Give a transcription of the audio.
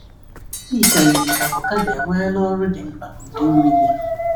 O yikarịrị ka avocado enweela ọrụ dị mkpa n’ụdị nri gị.